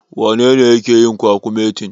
Wanene yake yin kwakumetin?